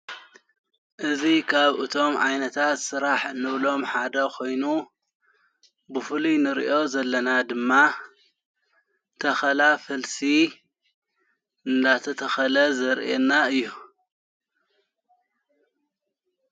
እዝ ኻብ እቶም ዓይነታት ዝሥራሕ ንብሎም ሓደ ኾይኑ ብፉልይ ንርእዮ ዘለና ድማ ተኸላ ፈልሲ እናተ ተኸለ ዘርኤና እዩ::